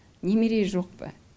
немере жоқ па